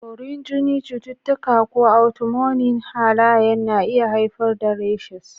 Borin jini, cututtuka, ko autoimmune halayen na iya haifar da rashes.